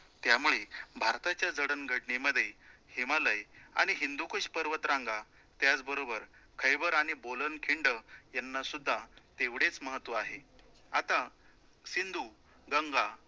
त्यामुळे भारताच्या जडणघडणीमध्ये हिमालय आणि हिंदूकुश पर्वत रांगा त्याचबरोबर खैबर आणि बोलन खिंड यांना सुद्धा तेवढेच महत्व आहे, आता सिंधु, गंगा